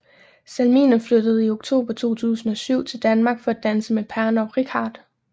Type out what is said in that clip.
Salminen flyttede i oktober 2007 til Danmark for at danse med Parnov Reichardt